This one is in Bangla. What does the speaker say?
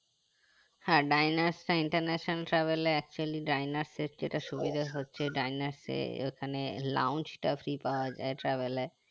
হ্যাঁ ডাইনাস টা international server এ actually ডাইনাসে যেটা সুবিধা হচ্ছে যে ডাইনাসে ওখানে lawns টা free পাওয়া যাই travel এ